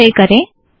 संचय करें